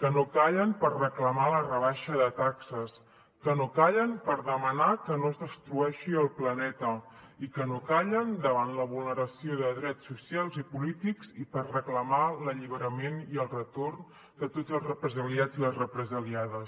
que no callen per reclamar la rebaixa de taxes que no callen per demanar que no es destrueixi el planeta i que no callen davant la vulneració de drets socials i polítics i per reclamar l’alliberament i el retorn de tots els represaliats i les represaliades